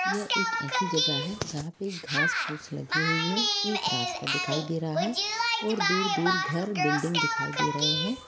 यह एक ऐसी जगह है जहा पर घास फूस लगी हुए है एक रास्ता दिखाई दे रहा है और दूर दूर घर बिल्डिंग दिखाई दे रहे हैं।